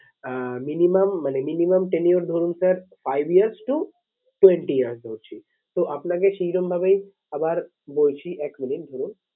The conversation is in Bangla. আহ minimum মানে minimum ten years ধরুন sir five years to twenty years ধরছি। তো আপনাকে সেরকম ভাবেই আবার বলছি এক minute ধরুন